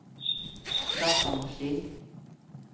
datamaskin